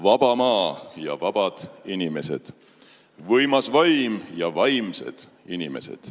Vaba maa ja vabad inimesed, võimas vaim ja vaimsed inimesed.